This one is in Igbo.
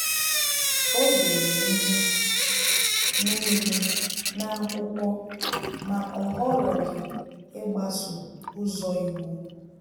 Ọ dere ihe niile n’akwụkwọ, ma o họrọghị ịgbaso ụzọ iwu